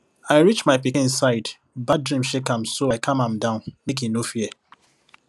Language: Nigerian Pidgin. i reach my pikin side bad dream shake am so i calm am down make e no fear